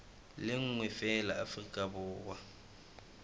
le nngwe feela afrika borwa